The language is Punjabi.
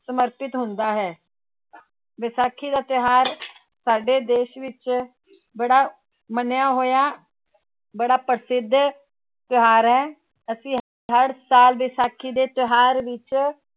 ਸਮਰਪਿਤ ਹੁੰਦਾ ਹੈ ਵਿਸਾਖੀ ਦਾ ਤਿਉਹਾਰ ਸਾਡੇ ਦੇਸ ਵਿੱਚ ਬੜਾ ਮੰਨਿਆ ਹੋਇਆ, ਬੜਾ ਪ੍ਰਸਿੱਧ ਤਿਉਹਾਰ ਹੈ ਅਸੀਂ ਹਰ ਸਾਲ ਵਿਸਾਖੀ ਦੇ ਤਿਉਹਾਰ ਵਿੱਚ